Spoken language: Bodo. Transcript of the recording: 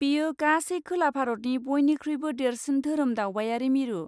बेयो गासै खोला भारतनि बयनिख्रुइबो देरसिन धोरोम दावबायारि मिरु।